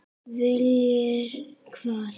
Viljir hvað?